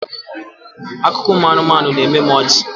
Akụkọ ụmụ anụmanụ na-eme m ọchị.